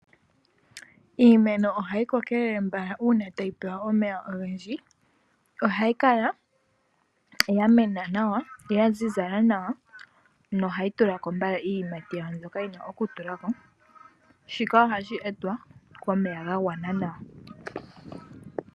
Iimeno ohayi kokelele mbala uuna tayi pewa omeya ogendji ohayi kala yamena nawa yazizala nawa no ohayi tulako mbala iiyimati yawo mbyoka yina okutulwako shika ohashi etwa komeya gagwana nawa.